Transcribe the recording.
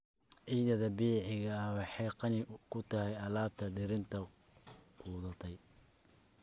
Ciidda dabiiciga ahi waxay qani ku tahay alaabta dhirta qudhuntay.